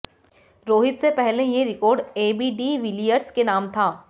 रोहित से पहले ये रिकॉर्ड एबी डी विलियर्स के नाम था